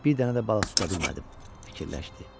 Bir dənə də balıq tuta bilmədim, fikirləşdi.